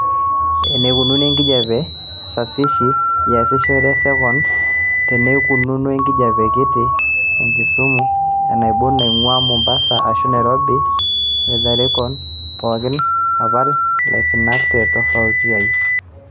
eneikununo enkijiape sasishi iasishore esekond teneikununo enkijiape kiti ekisumu enaibon naing'uaa mombasa ashu nairobi weatherecom pooki apal ilaisinak te tovuti ai